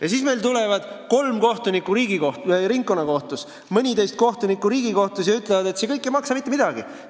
Ja siis tulevad kolm kohtunikku ringkonnakohtus ja mõniteist kohtunikku Riigikohtus ning ütlevad, et see kõik ei maksa mitte midagi.